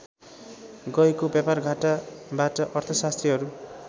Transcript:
गएको व्यापारघाटाबाट अर्थशास्त्रीहरू